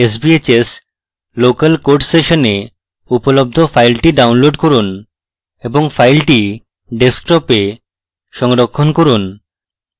sbhs local code সেশনে উপলব্ধ file download করুন এবং file ডেস্কটপে সংরক্ষণ করুন